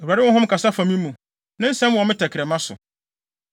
“ Awurade honhom kasa fa me mu; ne nsɛm wɔ me tɛkrɛma so.